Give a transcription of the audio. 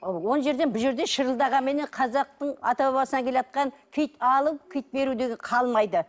он жерден бұл жерден шырылдағанменен қазақтың ата бабасынан келатқан киіт алу киіт беру деген қалмайды